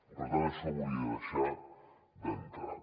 per tant això ho volia deixar clar d’entrada